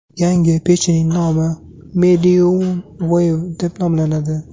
Yangi pechning nomi Mediumwave deb nomlanadi.